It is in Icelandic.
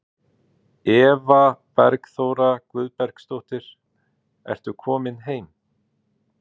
Eva Bergþóra Guðbergsdóttir: Ertu komin heim?